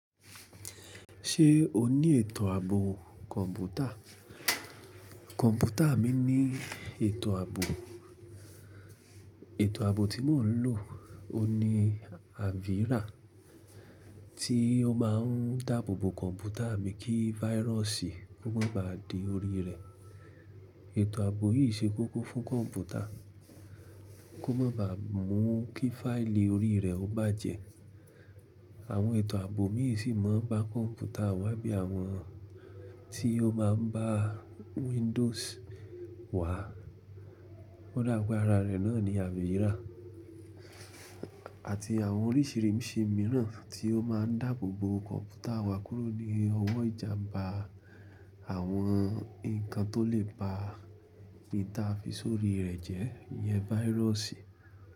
Ṣé o ní ètò ààbò kọ̀ǹpútà? Kọ̀ǹpútà mi ní ètò ààbò. Ètò ààbò tí mò ń lò oun ni Avira tí ó máa ń dáàbò bo kọ̀ǹpútà mi kí virus kó má ba à dé orí rẹ̀. Ètò ààbò yìí ṣe kókó fún kọ̀ǹpútà kó má ba à mú kí fáìlì orí rẹ̀ ó bàjẹ́. Àwọn ètò ààbò míì sì máa ń ba kọ̀ǹpútà wa bí i àwọn tí ó máa ń bá Windows wa. Ó dà pé ara rẹ̀ náà ni Avira àti àwọn oríṣìíríṣìí mìíràn tí ó máa ń dáàbò bo kọ̀ǹpútà wa kúrò ní ọwọ́ ìjàmbá àwọn nǹkan tó lè ba ìn ta fi sórí rẹ̀ jẹ́ iyẹn virus.